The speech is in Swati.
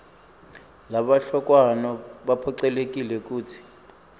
labahlolwako baphocelelekile kutsi